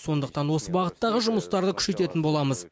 сондықтан осы бағыттағы жұмыстарды күшейтетін боламыз